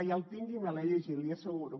ja el tinc i me l’he llegit l’hi asseguro